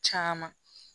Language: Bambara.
Caman